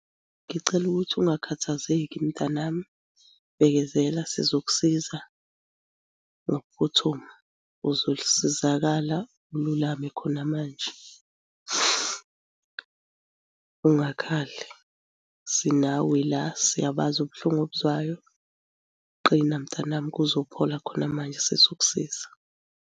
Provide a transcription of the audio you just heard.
Ngicela ukuthi ungakhathazeki mntanami. Bekezela sizokusiza ngokuphuthuma. Uzosizakala ululame khona manje, ungakhali sinawe la siyabazi ubuhlungu obuzwayo. Qina, mtanami kuzophola khona manje sizokusiza